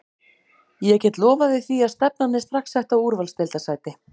Ég get lofað þér því að stefnan er strax sett á úrvalsdeildarsæti.